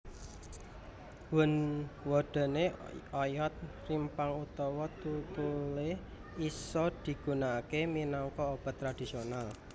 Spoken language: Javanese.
Wondéné oyot rimpang utawa tlutuhé isa digunakaké minangka obat tradisional